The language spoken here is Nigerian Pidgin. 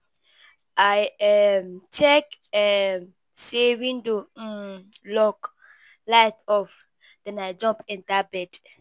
I um check um say window um lock, light off, then I jump enter bed.